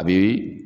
A bi